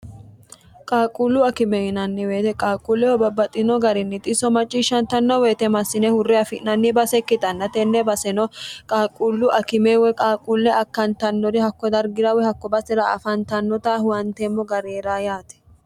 qaaqquullu akime yinanni woyte qaaqquulleho babbaxino garinni xiso macciishshantanno woyite massine hurre afi'nanni base ikkitanna tenne baseno qaaqquullu akime woy qaaqquulle akkantannori hakko dargirawe hakko basera afantannota huwanteemmo gari heerawo yaate